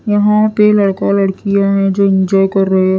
यहा पर लड़का लड़कियां है जो इंजॉय कर रहे--